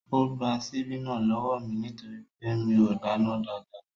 Ó gba síbí náà lọ́wọ́ mí nítorí pé mi o dáná dáadáa.